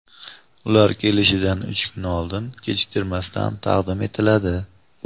ular kelishidan uch kun oldin kechiktirmasdan taqdim etiladi.